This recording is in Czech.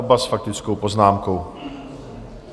Oba s faktickou poznámkou.